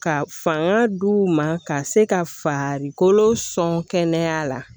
Ka fanga d'u ma ka se ka farikolo sɔnkɛnɛya la